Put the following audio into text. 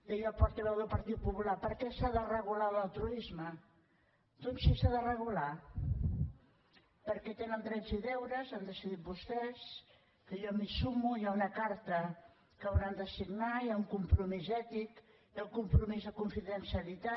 deia el portaveu del partit popular per què s’ha de regular l’altruisme doncs sí s’ha de regular perquè tenen drets i deures han decidit vostès que jo m’hi sumo hi ha una carta que hauran de signar hi ha un compromís ètic hi ha el compromís de confidencialitat